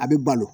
A bɛ balo